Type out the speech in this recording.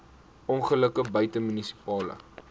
ongelukke buite munisipale